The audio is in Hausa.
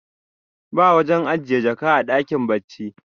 ba wajen ajiye jaka a dakin bacci